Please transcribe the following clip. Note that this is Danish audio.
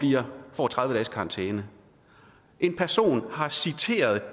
får tredive dages karantæne en person har citeret